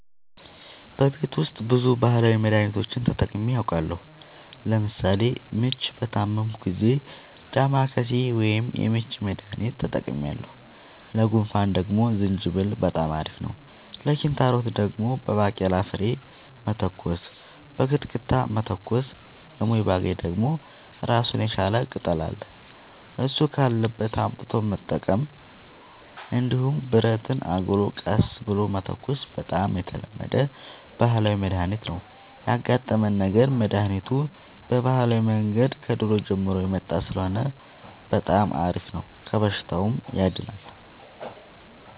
በቤት ውስጥ ብዙ ባህላዊ መድሀኒቶችን ተጠቅሜ አውቃለሁ ለምሳሌ ምች በታመምሁ ጊዜ ዳማከሴ ወይም የምች መድሀኒት ተጠቅሜያለሁ ለጉንፋን ደግሞ ዝንጅብል በጣም አሪፍ ነው ለኪንታሮት ደግሞ በባቄላ ፍሬ መተኮስ በክትክታ መተኮስ ለሞይባገኝ ደግሞ እራሱን የቻለ ቅጠል አለ እሱ ካለበት አምጥቶ መጠቀም እንዲሁም ብረትን አግሎ ቀስ ብሎ መተኮስ በጣም የተለመደ ባህላዊ መድሀኒት ነው ያጋጠመን ነገር መድሀኒቱ በባህላዊ መንገድ ከድሮ ጀምሮ የመጣ ስለሆነ በጣም አሪፍ ነው ከበሽታውም ያድናል።